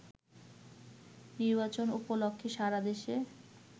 নির্বাচন উপলক্ষে সারা দেশে